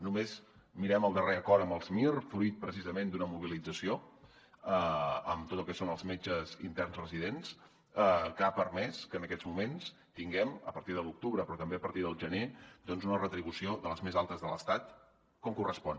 només mirem el darrer acord amb els mir fruit precisament d’una mobilització amb tot el que són els metges interns residents que ha permès que en aquests moments tinguem a partir de l’octubre però també a partir del gener una retribució de les més altes de l’estat com correspon